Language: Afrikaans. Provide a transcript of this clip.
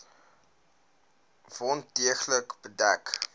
wond deeglik bedek